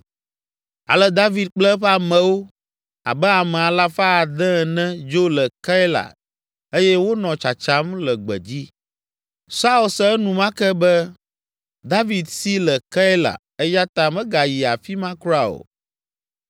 Ale David kple eƒe amewo, abe ame alafa ade ene dzo le Keila eye wonɔ tsatsam le gbedzi. Saul se enumake be David si le Keila eya ta megayi afi ma kura o.